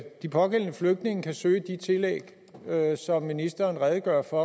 de pågældende flygtninge kan søge de tillæg som ministeren redegør for